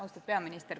Austatud peaminister!